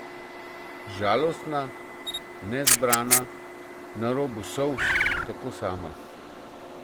Žalostna, nezbrana, na robu solz, tako sama.